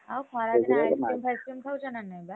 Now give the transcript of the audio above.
ଆଉ ଖରାଦିନେ ice cream ଫାଇସ୍‌କ୍ରିମ ଖାଉଛ ନା ନାହିଁ ବା? ସେଗୁଡା ନାହିଁ।